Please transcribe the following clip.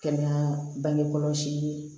Kɛnɛya bangekɔlɔsi ye